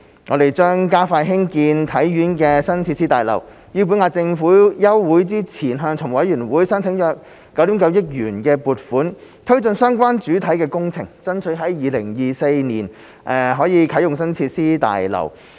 我們將加快興建體院的新設施大樓，於本屆立法會休會前向財務委員會申請約9億 9,000 萬元撥款推進相關主體工程，爭取於2024年啟用新設施大樓。